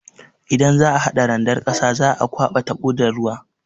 Idan za'a hada randar ƙasa, za'a kwaba taɓo da ruwa.